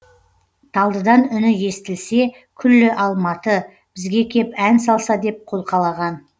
талдыдан үні естілсе күллі алматы бізге кеп ән салса деп қолқалаған